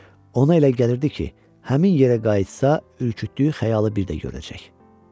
Ona elə gəlirdi ki, həmin yerə qayıtsa, ürkütdüyü xəyalı bir də görəcək.